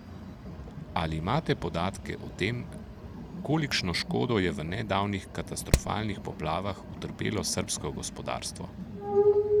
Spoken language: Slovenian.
Ali imate podatke o tem, kolikšno škodo je v nedavnih katastrofalnih poplavah utrpelo srbsko gospodarstvo?